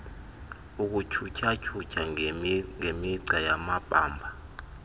ukutyhutyha ngemigca yamabamba